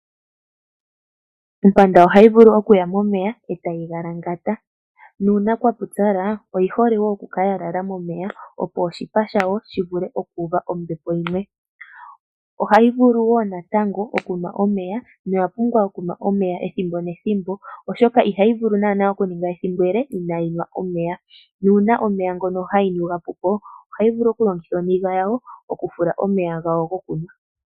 Ompanda ohayi vulu okuya momeya e tayi galangata. Nuuna kwa pupyala oyi hole wo oku kala ya lala momeya opo oshipa shayo shi vule oku uva ombepo yimwe. Ohayi vulu wo natango okunwa omeya noya pumba okunwa omeya ethimbo nethimbo oshoka ihayi vulu okuninga ethimbo ele inaayi nwa omeya, nuuna omeya ngono ha yi nu ga pu po, ohayi vulu okulongitha oniga yayo okufula omeya gayo gokunwa.